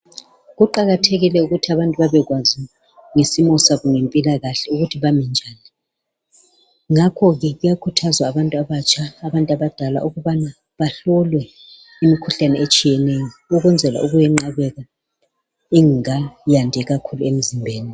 Kuqakathekile ukuthi abantu babekwazi ngesimo sabo ngempilakahle, ukuthi bami njani, ngakho ke kuyakhuthazwa abantu abatsha, abantu abadala ukubana bahlolwe imikhuhlane etshiyeneyo ukwenzela ukuyinqabela ingakayandi kakhulu emzimbeni